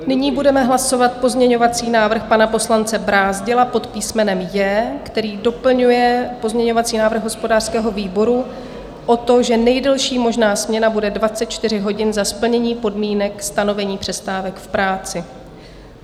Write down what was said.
Nyní budeme hlasovat pozměňovací návrh pana poslance Brázdila pod písmenem J, který doplňuje pozměňovací návrh hospodářského výboru o to, že nejdelší možná směna bude 24 hodin za splnění podmínek stanovení přestávek v práci.